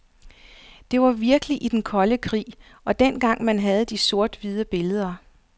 Det var virkelig i den kolde krig, og dengang man havde de sort-hvide billeder.